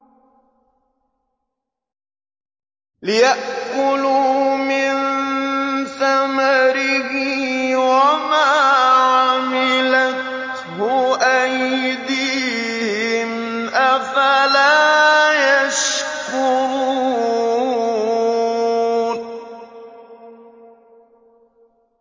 لِيَأْكُلُوا مِن ثَمَرِهِ وَمَا عَمِلَتْهُ أَيْدِيهِمْ ۖ أَفَلَا يَشْكُرُونَ